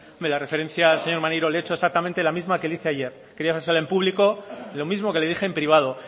en la referencia al señor maneiro le he hecho exactamente la misma que le hice ayer quería hacérsela en público lo mismo que le dije en privado